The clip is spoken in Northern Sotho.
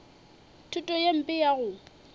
thuto ye mpe ya go